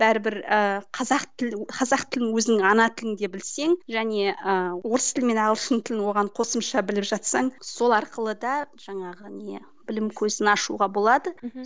бәрібір ы қазақ тілін қазақ тілін өзіңнің ана тілінде білсең және ы орыс тілі мен ағылшын тілін оған қосымша біліп жатсаң сол арқылы да жаңағы не білім көзін ашуға болады мхм